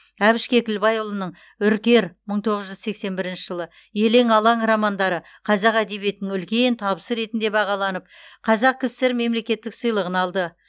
әбіш кекілбайұлының үркер мың тоғыз жүз сексен бірінші жылы елең алаң романдары қазақ әдебиетінің үлкен табысы ретінде бағаланып қазақ кср мемлекеттік сыйлығын алды